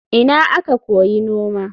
Ina aka koyi noma?